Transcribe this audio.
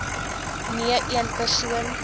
nee een persoon